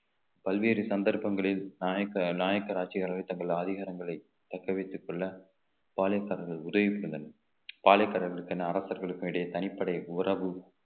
பல்வேறு சந்தர்ப்பங்களில் நாயக்கர் நாயக்கர் ஆட்சியாளர்கள் தங்கள் அதிகாரங்களை தக்க வைத்துக் கொள்ள பாலித்தார்கள் உதவி செய்தல் பாலிகாரர்களுக்கு என அரசர்களுக்கும் இடையே தனிப்படை உறவு